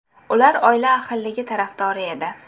Ular oila ahilligi tarafdori edi.